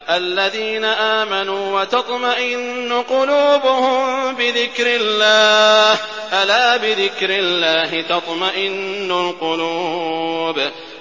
الَّذِينَ آمَنُوا وَتَطْمَئِنُّ قُلُوبُهُم بِذِكْرِ اللَّهِ ۗ أَلَا بِذِكْرِ اللَّهِ تَطْمَئِنُّ الْقُلُوبُ